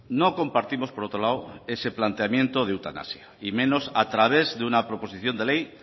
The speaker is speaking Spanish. no compartimos por otro lado ese planteamiento de eutanasia y menos a través de una proposición de ley